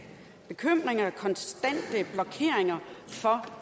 bekymringer konstante blokeringer for